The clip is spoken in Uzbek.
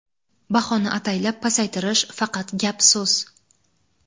Bahoni ataylab pasaytirish – faqat gap-so‘z.